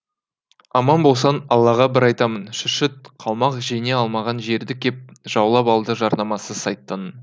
аман болсам аллаға бір айтамын шүршіт қалмақ жеңе алмаған жерді кеп жаулап алды жарнамасы сайтанның